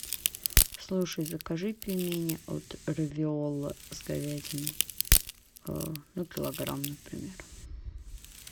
слушай закажи пельмени от равиолло с говядиной ну килограмм например